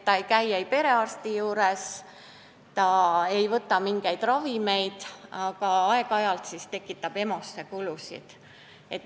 Ta ei käi perearsti juures, ta ei võta mingeid ravimeid, aeg-ajalt aga tekitab EMO-le kulusid.